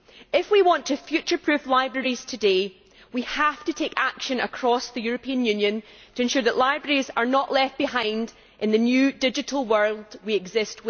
If we want to future proof libraries today, we have to take action across the European Union to ensure that libraries are not left behind in the new digital world in which we exist.